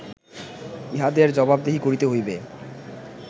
ইঁহাদের জবাবদিহি করিতে হইবে